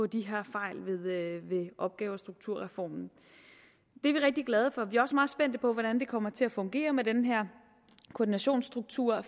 de her fejl ved opgave og strukturreformen det er vi rigtig glade for vi er også meget spændte på hvordan det kommer til at fungere med den her koordinationsstruktur